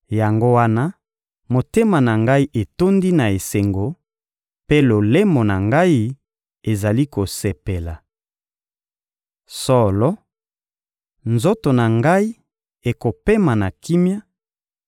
Yango wana, motema na ngai etondi na esengo, mpe lolemo na ngai ezali kosepela. Solo, nzoto na ngai ekopema na elikya,